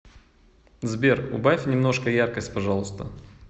сбер убавь немножко яркость пожалуйста